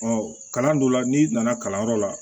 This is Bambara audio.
kalan dɔ la n'i nana kalanyɔrɔ la